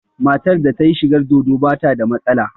Matar da ta yi shigar dodo ba ta da matsala